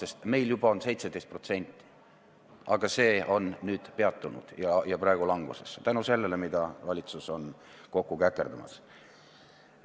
Meil on see näitaja juba 17%, aga selle kasv on nüüd peatunud ja läinud langusesse – tänu sellele, mida valitsus on kokku käkerdamas.